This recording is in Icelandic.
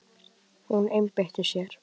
Hún einbeitti sér.